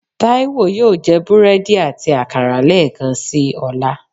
Taiwo yóò je búredì ati akara lẹẹkansi ọla.